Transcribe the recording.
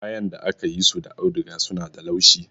Kayan da aka yi su da auduga suna da laushi.